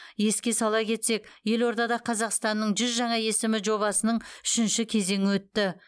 еске сала кетсек елордада қазақстанның жүз жаңа есімі жобасының үшінші кезеңі өтті